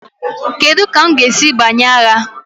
Kedu ka m ga-esi banye agha?